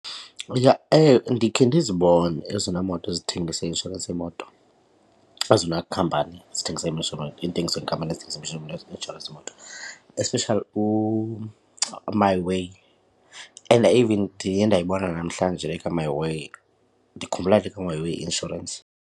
Ndikhe ndizibone ezona moto zithengisa i-inshorensi yemoto, ezona khampani zithengisa intengiso yeekhampani ezithengisa inshorensi yemoto especially uMiWay and even ndiye ndayibona namhlanje le kaMiWay. Ndikhumbula le kaMiWay Insurance.